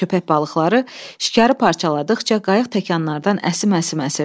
Köpək balıqları şikarı parçaladıqca qayıq təkanlardan əsim-əsim əsirdi.